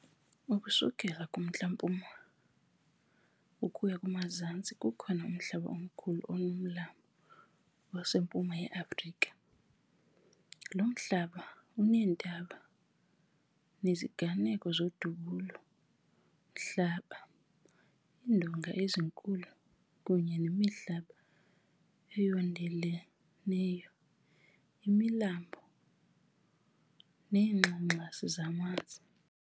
Ukusuka kumntla-mpuma ukuya kumazantsi kukho umhlaba omkhulu onomlambo oseMpuma ye-Afrika. lo mhlaba uneentaba, uneziganeko zodubulo-mhlaba, iindonga, ezinkulu, kunye nemihlaba eyondeleneyo, imilambo neengxangxasi zamanzi.